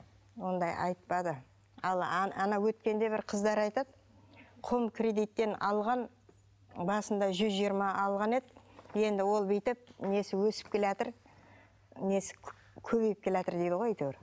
ондай айтпады ал ана өткенде бір қыздар айтады хоумкредиттен алған басында жүз жиырма алған еді енді ол бүйтіп несі өсіп келеатыр несі көбейіп келеатыр дейді ғой әйтеуір